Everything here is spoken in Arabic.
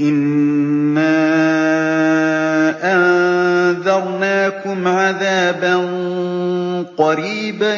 إِنَّا أَنذَرْنَاكُمْ عَذَابًا قَرِيبًا